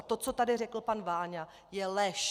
A to, co tady řekl pan Váňa, je lež.